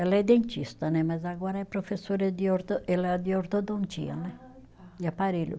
Ela é dentista né, mas agora é professora de orto, é lá de ortodontia né. Ah, tá. De aparelho.